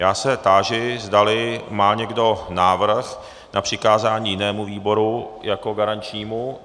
Já se táži, zdali má někdo návrh na přikázání jinému výboru jako garančnímu.